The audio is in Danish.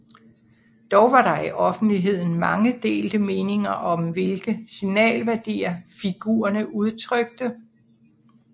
Dog var der i offentligheden mange delte meninger om hvilke signalværdier figurerne udtrykte